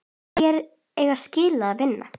Hverjir eiga skilið að vinna?